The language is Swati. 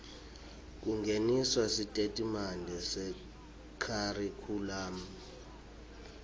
kungeniswa kwesitatimende sekharikhulamu